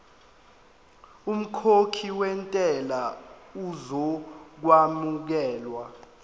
umkhokhi wentela uzokwamukelwa